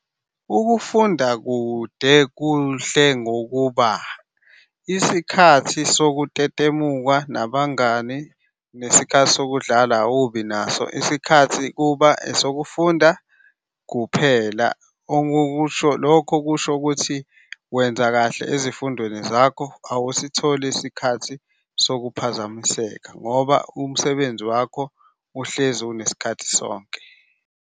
Ukufunda kude kuhle ngokuba isikhathi sokutetemuka nabangani, nesikhathi sokudlala awubi naso. Isikhathi kuba esokufunda kuphela. Lokho kusho ukuthi wenza kahle ezifundweni zakho, awusitholi isikhathi sokuphazamiseka ngoba umsebenzi wakho uhlezi unesikhathi sonke.